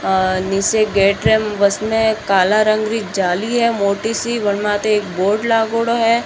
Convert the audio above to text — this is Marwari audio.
निचे गेट है उसमे काला रंग री जाली है मोटीसी बिरमाते एक बोर्ड लागोडो है।